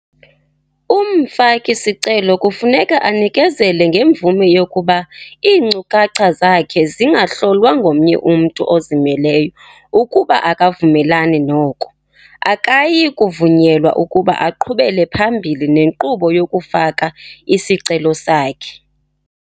Umfaki-sicelo kufuneka anikezele ngemvume yokuba iinkcukacha zakhe zingahlolwa ngomnye umntu ozimeleyo ukuba akavumelani noko, akayikuvunyelwa ukuba aqhubele phambili nenkqubo yokufaka isicelo sakhe.